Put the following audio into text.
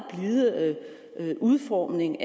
blide udformning